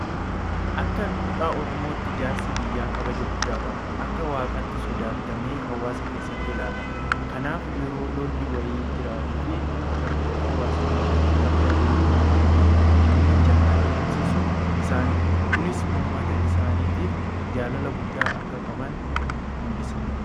Akka duudhaa oromootti jaarsi biyyaa kabaja guddaa qaba. Akka waaqaatti sodaatamee hawaasa keessatti ilaalama. Kanaaf yeroo lolli wayii jiraatuufi rakkoon hawaasa mudatu adda durummaadhaan kan dhimmicha adeemsisu isaanidha. Kunis uummata isaaniitiif jaalala guddaa akka qaban mul'isa.